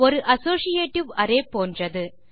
ஒரு associative array போன்றது